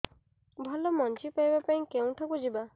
ଭଲ ମଞ୍ଜି ପାଇବା ପାଇଁ କେଉଁଠାକୁ ଯିବା